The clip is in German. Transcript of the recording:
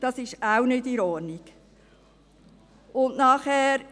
Das ist auch nicht in Ordnung.